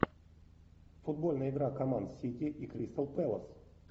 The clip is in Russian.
футбольная игра команд сити и кристал пэлас